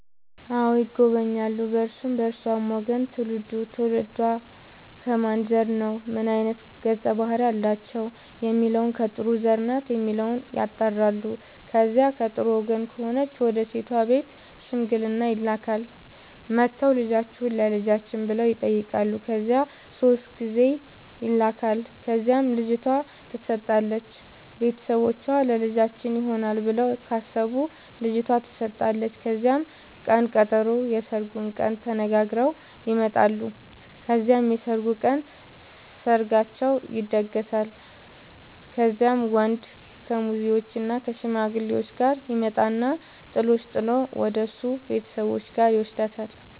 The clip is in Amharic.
አዎ ይጎበኛሉ በእርሱም በእርሷም ወገን ትውልዱ ትውልዷ ከማን ዘር ነው ምን አይነት ገፀ ባህርያት አላቸው የሚለውን ከጥሩ ዘር ናት የሚለውን ያጣራሉ። ከዚያ ከጥሩ ወገን ከሆነች ወደ ሴት ቤት ሽምግልና ይላካል። መጥተው ልጃችሁን ለልጃችን ብለው ይጠያቃሉ ከዚያ ሶስት ጊዜ ይላካል ከዚያም ልጅቷ ትሰጣለች ቤተሰቦቿ ለልጃችን ይሆናል ብለው ካሰቡ ልጇቷ ተሰጣለች ከዚያም ቅን ቀጠሮ የስርጉን ቀን ተነጋግረው ይመጣሉ ከዚያም የሰርጉ ቀን ሰርጋቸው ይደገሳል። ከዚያም ወንድ ከሙዜዎችእና ከሽማግሌዎቹ ጋር ይመጣና ጥሎሽ ጥል ወደሱ ቤተሰቦች ጋር ይውስዳታል።